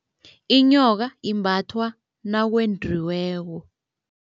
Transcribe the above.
Inyoka imbathwa nakwendiweko.